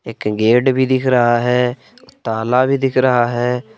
एक गेट भी दिख रहा है ताला भी दिख रहा है।